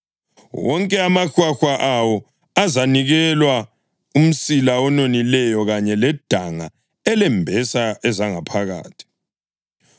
Wonke amahwahwa awo azanikelwa: umsila ononileyo kanye ledanga elembesa ezangaphakathi,